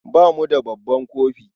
Ba mu da babban kofi.